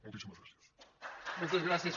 moltíssimes gràcies